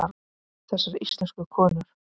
Þessar íslensku konur!